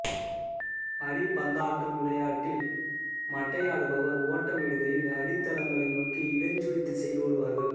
அடிபந்தாட்டம் விளயாட்டில் மட்டையாடுபவர் ஓட்டம் எடுக்கையில் அடித்தளங்களை நோக்கி இடஞ்சுழி திசையில் ஓடுவார்கள்